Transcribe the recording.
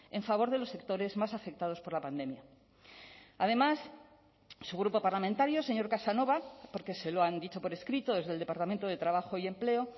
en favor de los sectores más afectados por la pandemia además su grupo parlamentario señor casanova porque se lo han dicho por escrito desde el departamento de trabajo y empleo